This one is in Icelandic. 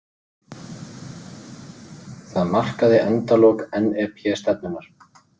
Það markaði endalok NEP-stefnunnar.